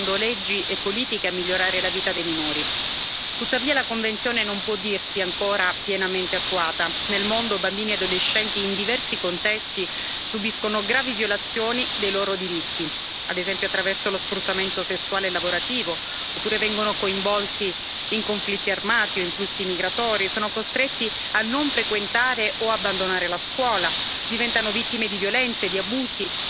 Tuttavia, la Convenzione non può dirsi ancora pienamente attuata. Nel mondo, bambini e adolescenti in diversi contesti subiscono gravi violazioni dei loro diritti, ad esempio attraverso lo sfruttamento sessuale e lavorativo, oppure vengono coinvolti in conflitti armati e in flussi migratori, e sono costretti a non frequentare o abbandonare la scuola, diventano vittime di violenze, di abusi, di discriminazione a causa dell'età e del genere.